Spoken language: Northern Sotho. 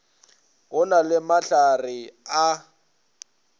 go na le mahlare a